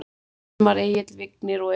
Hilmar Egill, Vignir og Eva.